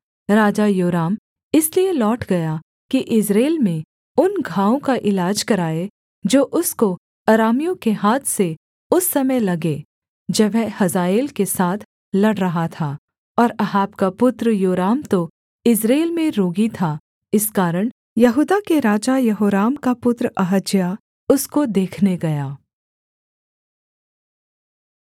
राजा योराम इसलिए लौट गया कि यिज्रेल में उन घावों का इलाज कराए जो उसको अरामियों के हाथ से उस समय लगे जब वह हजाएल के साथ लड़ रहा था और अहाब का पुत्र योराम तो यिज्रेल में रोगी था इस कारण यहूदा के राजा यहोराम का पुत्र अहज्याह उसको देखने गया